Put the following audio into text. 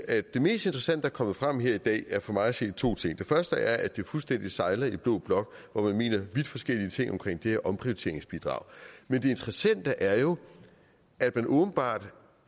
at det mest interessante der er kommet frem her i dag for mig at se er to ting den første er at det fuldstændig sejler i blå blok hvor man mener vidt forskellige ting omkring det her omprioriteringsbidrag men det interessante er jo at man åbenbart